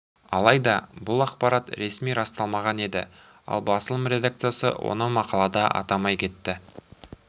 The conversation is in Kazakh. алайда бұл ақпарат ресми расталмаған еді ал басылым редакциясы оны мақалада атамай кетті